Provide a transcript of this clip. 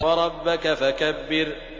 وَرَبَّكَ فَكَبِّرْ